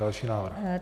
Další návrh.